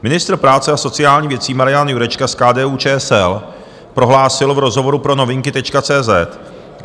Ministr práce a sociálních věcí Marian Jurečka z KDU-ČSL prohlásil v rozhovoru pro Novinky.cz